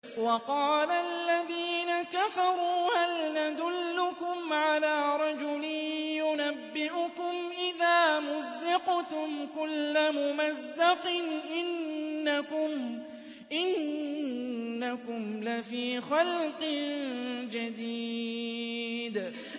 وَقَالَ الَّذِينَ كَفَرُوا هَلْ نَدُلُّكُمْ عَلَىٰ رَجُلٍ يُنَبِّئُكُمْ إِذَا مُزِّقْتُمْ كُلَّ مُمَزَّقٍ إِنَّكُمْ لَفِي خَلْقٍ جَدِيدٍ